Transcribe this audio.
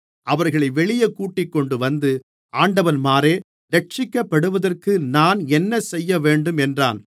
அவர்களை வெளியே கூட்டிக்கொண்டுவந்து ஆண்டவன்மாரே இரட்சிக்கப்படுவதற்கு நான் என்னசெய்யவேண்டும் என்றான்